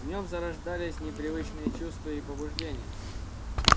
в нем зарождались непривычные чувства и побуждения